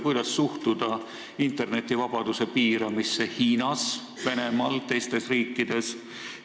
Kuidas suhtuda internetivabaduse piiramisse Hiinas, Venemaal ja teistes riikides?